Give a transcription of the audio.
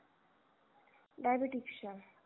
diabetes च्या